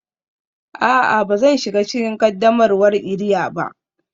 A'a, ba zan shiga cikin qaddamarwar iria ba